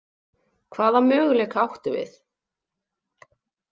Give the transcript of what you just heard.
Hvaða möguleika áttum við?